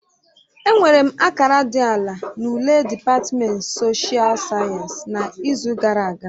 Enwere m akara dị ala na ule dịpatmenti soshial sayensị n'izu gara aga